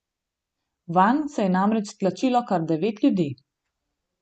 Vanj se je namreč stlačilo kar devet ljudi.